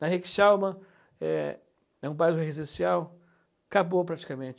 Na Rick Chalmers, é é um bairro residencial, acabou praticamente.